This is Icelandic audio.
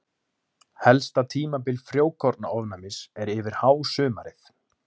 helsta tímabil frjókornaofnæmis er yfir hásumarið